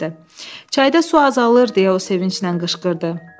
Çayda su azalır deyə o sevinclə qışqırdı.